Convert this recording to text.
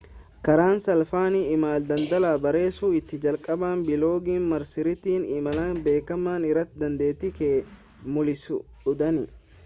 karaan salphaan imala daldalaa barreessuu ittiin jalqaban biloogii marsariitii imala beekamaa irratti dandeettii kee mullisuudhaani